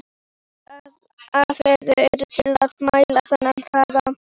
Ýmsar aðferðir eru til að mæla þennan hraða.